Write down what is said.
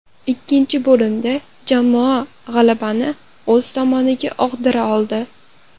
Ikkinchi bo‘limda jamoa g‘alabani o‘z tomoniga og‘dira oldi.